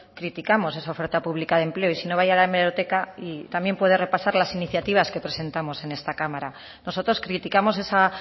criticamos esa oferta pública de empleo y si no vaya a la hemeroteca y también puede repasar las iniciativas que presentamos en esta cámara nosotros criticamos esa